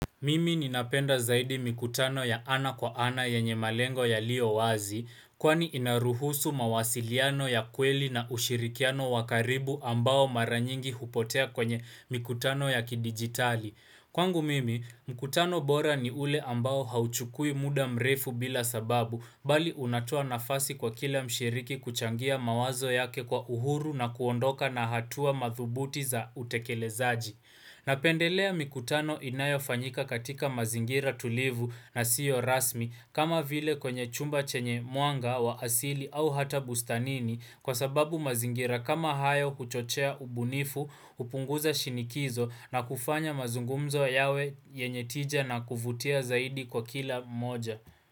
Mimi ninapenda zaidi mikutano ya ana kwa ana yenye malengo yaliyo wazi, kwani inaruhusu mawasiliano ya kweli na ushirikiano wa karibu ambao mara nyingi hupotea kwenye mikutano ya kidigitali. Kwangu mimi, mkutano bora ni ule ambao hauchukui muda mrefu bila sababu, bali unatua nafasi kwa kila mshiriki kuchangia mawazo yake kwa uhuru na kuondoka na hatua madhubuti za utekelezaji. Napendelea mikutano inayo fanyika katika mazingira tulivu na sio rasmi kama vile kwenye chumba chenye mwanga wa asili au hata bustanini kwa sababu mazingira kama hayo kuchochea ubunifu, upunguza shinikizo na kufanya mazungumzo yawe yenye tija na kuvutia zaidi kwa kila mmoja.